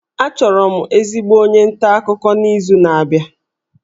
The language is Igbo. Achọrọ m ezigbo onye nta akụkọ n'izu na-abịa